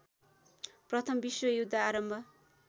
प्रथम विश्वयुद्ध आरम्भ